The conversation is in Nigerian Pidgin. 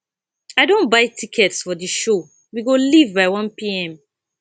i don buy tickets for the show we go leave by 1pm